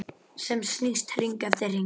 Sem snýst hring eftir hring.